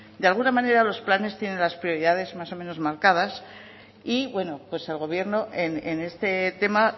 de alguna manera los planes tienen las prioridades más o menos marcadas y bueno pues el gobierno en este tema